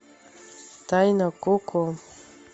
тайна коко